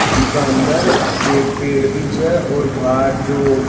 जीका अंदर एक पेड़ भी छ और बाहर जो --